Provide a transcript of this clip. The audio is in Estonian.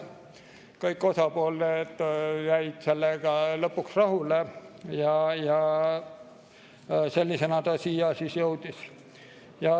Kõik osapooled jäid lõpuks rahule ja sellisena ta siia jõudis.